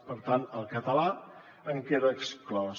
per tant el català en queda exclòs